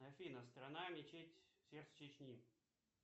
афина страна мечеть сердце чечни